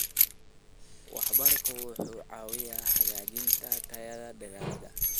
Waraabka wuxuu caawiyaa hagaajinta tayada dalagga.